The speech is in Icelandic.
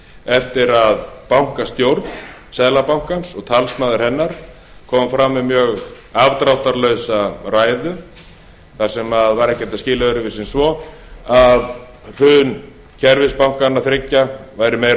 eftir að bankastjórn seðlabankans og talsmaður hennar kom fram með mjög afdráttarlausa ræðu sem var ekki hægt að skilja öðruvísi en svo að hrun kerfisbankanna þriggja væri meira og